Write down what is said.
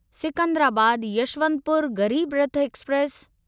Secunderabad Yesvantpur Garib Rath express